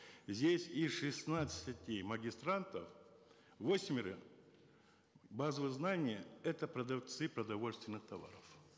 здесь из шестнадцати магистрантов восьмеро базовые знания это продавцы продовольственных товаров